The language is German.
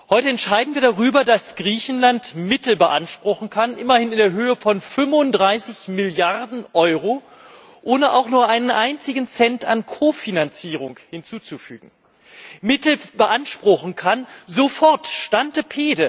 Heute entscheiden wir darüber, dass Griechenland Mittel beanspruchen kann immerhin in Höhe von 35 Milliarden Euro, ohne auch nur einen einzigen Cent an Kofinanzierung hinzuzufügen sofort, stante pede